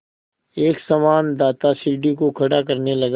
एक संवाददाता सीढ़ी को खड़ा करने लगा